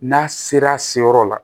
N'a sera yɔrɔ la